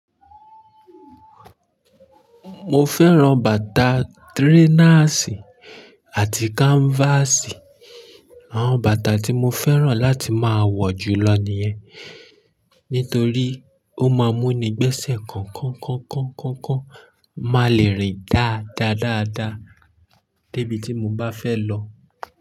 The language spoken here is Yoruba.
Mo fẹ́ran bàtà trainers àti canvas. Àwọn bàtà tí mo fẹ́ran láti máa wọ̀ julọ nìyẹn. Nítorí ó máa mú ni gbẹ́sẹ̀ kankankankankan máa lè rìn dáadáa dáadáa débi tí mo bá fẹ́ lọ.